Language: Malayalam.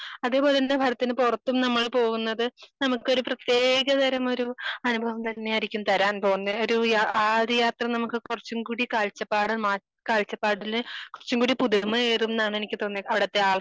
അതേ പോലെ തന്നെ ഭാരതത്തിന് പുറത്തും നമ്മൾ പോകുന്നത് നമക്കൊരു പ്രതേക തരം ഒരു അനുഭവം തന്നെ ആയിരിക്കും തരാൻ പോകുന്നേ ഒരു യാ ആഹ് ഒരു യാത്ര നമുക്ക് കുറച്ചും കൂടി കാഴ്ചപ്പാട് മാറ്റി കാഴ്ചപ്പാടില് കുറച്ചും കൂടി പുതിർമ ഏകുംന്നാണ് എനിക്ക് തോന്നിയെ അവിടുത്തെ ആൾക്കാരെ